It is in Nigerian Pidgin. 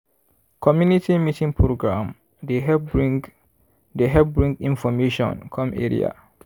community meeting program dey help bring dey help bring information come area.